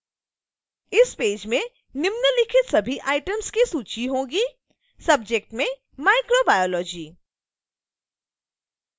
इस पेज में निम्नलिखित सभी items की सूची होगी: